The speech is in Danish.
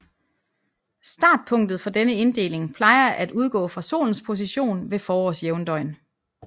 Startpunktet for denne inddeling plejer at udgå fra Solens position ved forårsjævndøgn